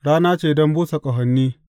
Rana ce don busa ƙahoni.